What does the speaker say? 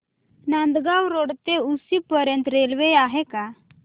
Nandgaon road ते उक्षी पर्यंत railway आहे का